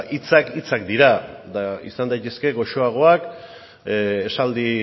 hitzak hitzak dira eta izan daitezke goxoagoak esaldi